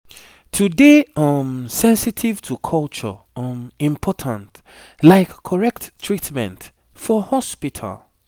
to dey um sensitive to culture um important like correct treatment for hospital